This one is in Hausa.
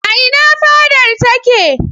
A ina fadar take?